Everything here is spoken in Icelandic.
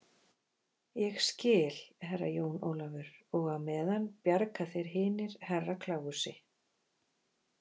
Ég skil, Herra Jón Ólafur, og á meðan bjarga þeir hinir Herra Kláusi.